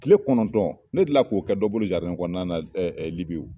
Kile kɔnɔntɔn ne dilan k'o kɛ dɔ bolo kɔnɔna LIBI wo.